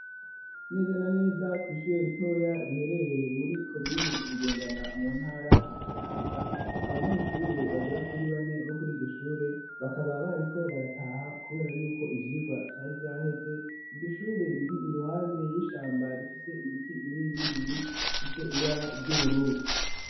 Neza na neza kw'ishure ritoya riherereye muri komine Bugendana mu ntara ya Kayanza, abanyeshure bagera kuri bane bo kuri iryo shure, bakaba bariko barataha kubera yuko ivyirwa vyari vyaheze, iryo shure riri iruhande y'ishamba rifise ibiti binini binini, bifise ibara ry'ubururu.